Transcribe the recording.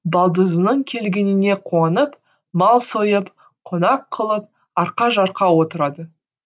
балдызының келгеніне қуанып мал сойып қонақ қылып арқа жарқа отырады